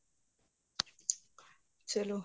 ਚਲੋ